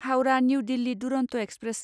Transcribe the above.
Howrah New Delhi Duronto express